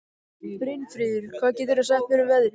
Brynfríður, hvað geturðu sagt mér um veðrið?